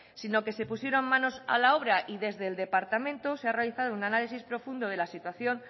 sino que se pusieron manos a la obra y desde el departamento se ha realizado un análisis profundo de la situación